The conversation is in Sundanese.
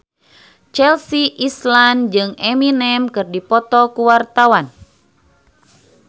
Chelsea Islan jeung Eminem keur dipoto ku wartawan